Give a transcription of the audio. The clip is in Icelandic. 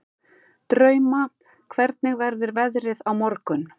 Drauma, hvernig verður veðrið á morgun?